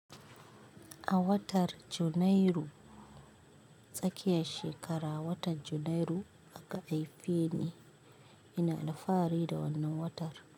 A watar Janairu tsakiya shekara, watan Janairu aka haife ni, ina da fari da wannan watar.